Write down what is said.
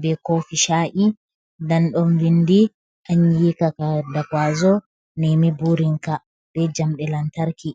be kofi sha’i. Den ɗon vindi anyi ka da kwazo nemi burinka be jamɗe lantarki.